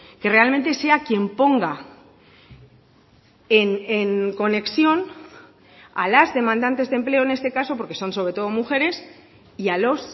que realmente sea quien ponga en conexión a las demandantes de empleo en este caso porque son sobre todo mujeres y a los